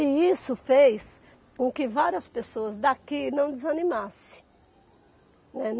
E isso fez com que várias pessoas daqui não desanimassem, né.